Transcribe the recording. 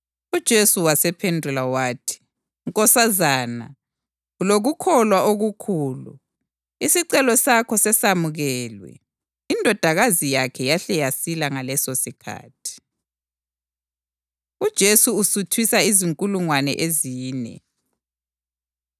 UJesu wasephendula wathi, “Nkosazana, ulokukholwa okukhulu! Isicelo sakho sesamukelwe.” Indodakazi yakhe yahle yasila ngalesosikhathi. UJesu Usuthisa Izinkulungwane Ezine